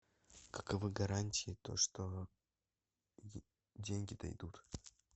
каковы гарантии то что деньги дойдут